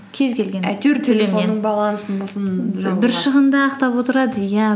кез келген балансын болсын шығынды ақтап отырады иә